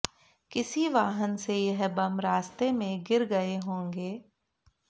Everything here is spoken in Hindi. किसी वाहन से यह बम रास्ते में गिर गए होंगे